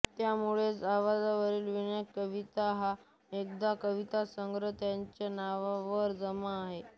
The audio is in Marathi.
त्यामुळेच आजवर विजनातील कविता हा एकच कवितासंग्रह त्यांच्या नावावर जमा आहे